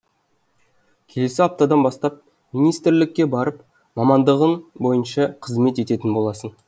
келесі аптадан бастап министрлікке барып мамандығың бойынша қызмет ететін боласың